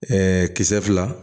Ɛɛ kisɛ fila